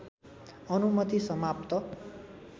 अनुमति समाप्त